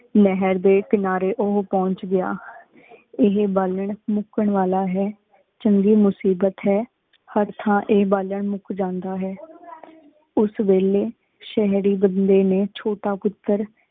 ਨਾਹੇਰ ਡੀ ਕਿਨਾਰੀ ਉਹੁ ਪੁੰਛ ਗੇਯ ਏਹੀ ਬਾਲਣ ਮੁਕੰ ਵਾਲਾ ਹੈਂ ਚੰਗੀ ਮੁਸਿਬੇਤ ਹੈਂ ਹੇਰ ਥਾਂ ਆਯ ਬਲਨ ਮੁਕ ਜਾਂਦਾ ਹੈਂ ਉਸ ਵਾਲੀ ਸ਼ਹਰੀ ਬੰਦੀ ਨੀ ਛੂਟਾ ਪੁਟਰ